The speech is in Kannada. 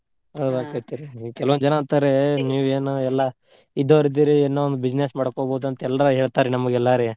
ಹೌದ ಅಕ್ಕೆತ್ರಿ ಕೆಲವ್ ಜನಾ ಅಂತಾರ ನೀವ್ ಏನ್ ಎಲ್ಲಾ ಇದ್ದೋರ್ ಇದ್ದೀರಿ ಏನೊ ಒಂದ್ business ಮಾಡ್ಕೊಬೋದ್ ಅಂತ್ ಎಲ್ರು ಹೇಳ್ತಾರ ನಮಗೆಲ್ಲಾ ರೀ